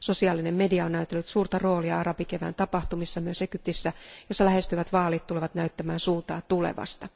Sosiaalinen media on näytellyt suurta roolia arabikevään tapahtumissa myös Egyptissä, jossa lähestyvät vaalit tulevat näyttämään suuntaa tulevasta.